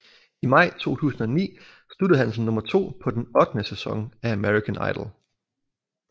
I maj 2009 sluttede han som nummer to på den ottende sæson af American Idol